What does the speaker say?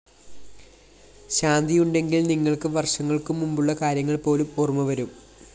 ശാന്തിയുണ്ടെങ്കില്‍ നിങ്ങള്‍ക്ക് വര്‍ഷങ്ങള്‍ക്കു മുമ്പുള്ള കാര്യങ്ങള്‍ പോലും ഓര്‍മ്മ വരും